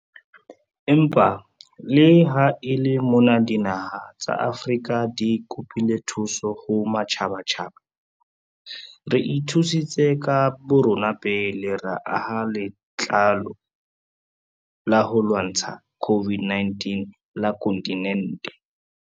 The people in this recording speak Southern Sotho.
Empa le ha e le mona dinaha tsa Afrika di kopile thuso ho matjhabatjhaba, re ithusitse ka borona pele ra aha Latlole la ho lwantsha COVID-19 la kontinente.